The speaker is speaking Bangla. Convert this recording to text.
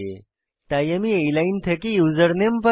তাই আমি এই লাইন থেকে ইউসারনেম পাই